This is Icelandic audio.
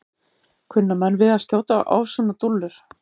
Kunna menn við að skjóta á svona dúllur?